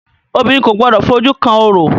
Obìnrin kò gbọdọ̀ fojú kan orò!